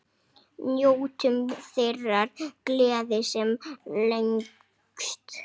Njótum þeirrar gleði sem lengst.